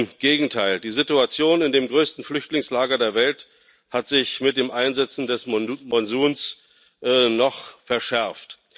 Im Gegenteil Die Situation in dem größten Flüchtlingslager der Welt hat sich mit dem Einsetzen des Monsuns noch verschärft.